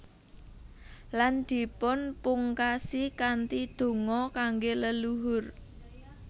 Lan dipunpungkasi kanthi donga kangge leluhur